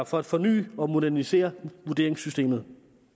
for at forny og modernisere vurderingssystemet